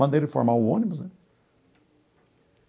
Mandei ele formar o ônibus, né?